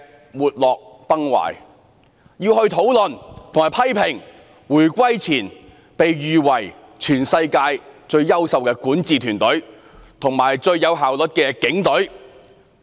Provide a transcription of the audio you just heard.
我們在立法會會議廳要討論和批評在回歸前被譽為全世界最優秀的管治團隊及最具效率的警隊。